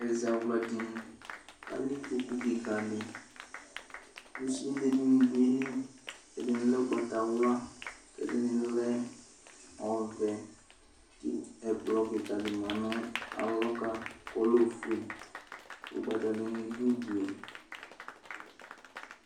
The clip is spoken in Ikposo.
Ɛzawla dini, katɛ ikpoku kɩka dɩ ,sude nɩ dʋ ayili ; ɛdɩnɩ ʊgbatawla, ɛdɩnɩ lɛ ɔvɛ, ɛkplɔ kɩka dɩ ma nʋ alɔ ka ɔlɛ ofue, ʊgbata dɩnɩ dʋ ude